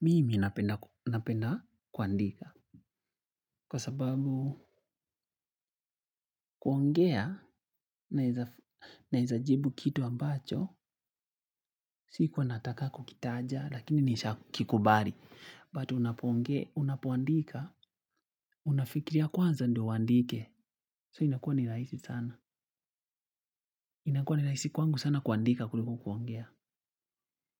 Mimi napenda kuandika kwa sababu kuongea naeza jibu kitu ambacho sikuwanataka kukitaja lakini nisha kikubali But unapoongea, unapoandika, unafikiria kwanza ndio uandike So inakua ni rahisi sana inakuwa ni rahisi kwangu sana kuandika kuliko kuongea